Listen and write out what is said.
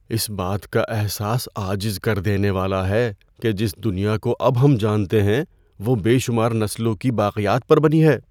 اس بات کا احساس عاجز کر دینے والا ہے کہ جس دنیا کو اب ہم جانتے ہیں وہ بے شمار نسلوں کی باقیات پر بنی ہے۔